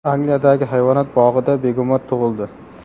Angliyadagi hayvonot bog‘ida begemot tug‘ildi.